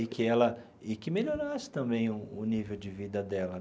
E que ela e que melhorasse também o nível de vida dela.